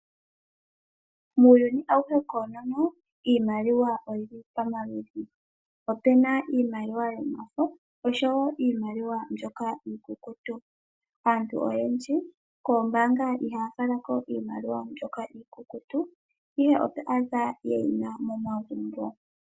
Muuyuni auhe koonono iimaliwa oyili pamaludhi. Opena iimaliwa yomafo oshowo iimaliwa mbyoka iikukutu. Aantu oyendji koombaanga ihaya falako iimaliwa mbyoka iikukutu, ihe oto adha yeyina momagumbo .